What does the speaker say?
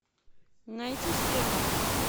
найти стерва